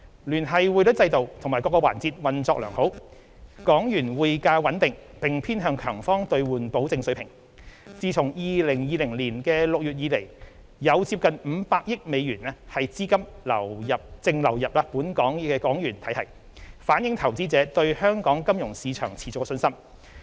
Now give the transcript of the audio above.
聯繫匯率制度及各個環節運作良好，港元匯價穩定並偏向強方兌換保證水平，自2020年6月以來有接近500億美元的資金淨流入港元體系，反映投資者對香港金融市場持續的信心。